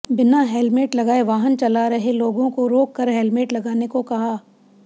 बिना हेलमेट लगाए वाहन चला रहे लोगों को रोक कर हेलमेट लगाने को कहा